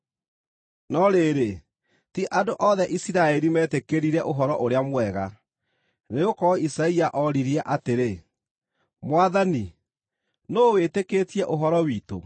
No rĩrĩ, ti andũ othe Isiraeli meetĩkĩrire Ũhoro-ũrĩa-Mwega. Nĩgũkorwo Isaia oririe atĩrĩ, “Mwathani, nũũ wĩtĩkĩtie ũhoro witũ?”